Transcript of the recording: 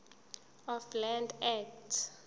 of land act